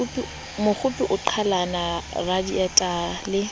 mokgopi o qhalana raditaba le